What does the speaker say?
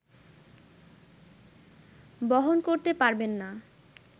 বহন করতে পারবেন না